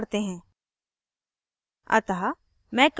हम इसको थोड़ा छोटा करते हैं